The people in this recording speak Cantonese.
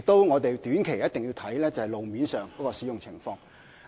我們短期內一定要監察路面的使用情況。